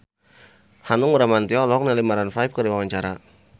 Hanung Bramantyo olohok ningali Maroon 5 keur diwawancara